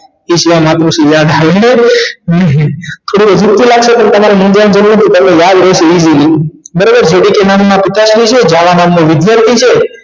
તે સિવાય માતૃશ્રી યાદ આવે નહિ તમને ખોટું લાગતું હોય ને તમારે યાદ રહી જાય easily બરાબર જે ડી પી નામ ના પિતાશ્રી છે જાવા નામ નો વિધાર્થી છે